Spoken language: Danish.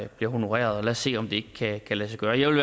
bliver honoreret lad os se om det ikke kan lade sig gøre jeg vil